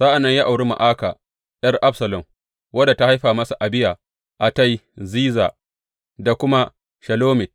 Sa’an nan ya auri Ma’aka ’yar Absalom, wadda ta haifa masa Abiya, Attai, Ziza da kuma Shelomit.